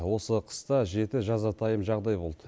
осы қыста жеті жазатайым жағдай болды